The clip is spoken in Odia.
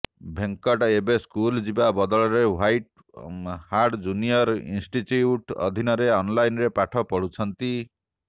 ଭେଙ୍କଟ ଏବେ ସ୍କୁଲ ଯିବା ବଦଳରେ ୱାଇଟ ହାର୍ଡ ଜୁନିୟର ଇନଷ୍ଟିଚ୍ୟୁଟ୍ ଅଧୀନରେ ଅନଲାଇନରେ ପାଠ ପଢୁଛନ୍ତି